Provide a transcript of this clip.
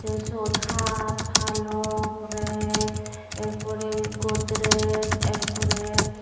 te seyot haat palong rack erpore godrej erpore.